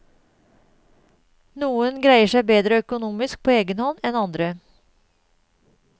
Noen greier seg bedre økonomisk på egenhånd enn andre.